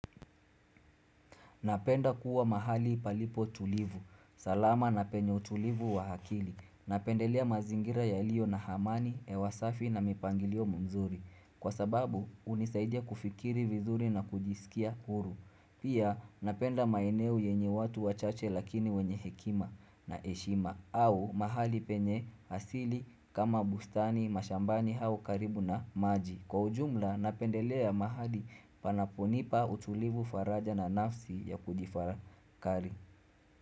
Napenda kuwa mahali palipo tulivu. Salama na penye utulivu wa akili. Napendelea mazingira ya ilio na hamani, hewa safi na mipangilio mizuri. Kwa sababu, unisaidia kufikiri vizuri na kujisikia huru. Pia napenda maeneo yenye watu wachache lakini wenye hekima na heshima au mahali penye asili kama bustani mashambani au karibu na maji. Kwa ujumla napendelea mahali panapo nipa utulivu, faraja na nafsi ya kujitafakari.